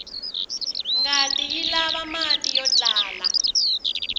ngati yilava mati yotlala